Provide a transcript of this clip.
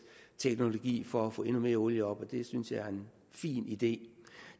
teknologien for at få endnu mere olie op det synes jeg er en fin idé